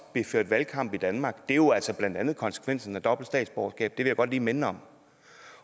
blev ført valgkamp i danmark det er jo altså blandt andet konsekvensen af dobbelt statsborgerskab det vil jeg godt lige minde om